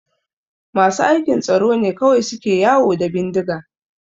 Masu aikin tsaro ne kawai suke yawo da bindiga